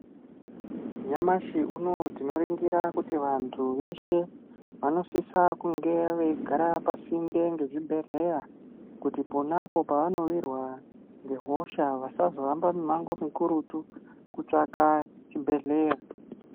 Nyamashi uno tinoringira kuti vantu veshe vanosisa kunge veigara pasinde ngezvibhedhleya kuti ponapo pavanowirwe nehosha vasazohambe mihambo mikurutu kutsvaka chibhedhleya.